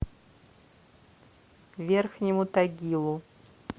верхнему тагилу